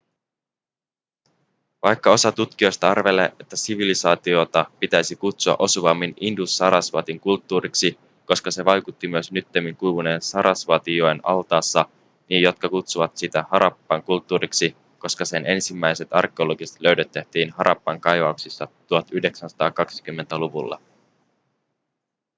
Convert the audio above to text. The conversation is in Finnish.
vaikka osa tutkijoista arvelee että sivilisaatiota pitäisi kutsua osuvammin indus-sarasvatin kulttuuriksi koska se vaikutti myös nyttemmin kuivuneen sarasvatijoen altaassa niin jotkut kutsuvat sitä harappan kulttuuriksi koska sen ensimmäiset arkeologiset löydöt tehtiin harappan kaivauksissa 1920-luvulla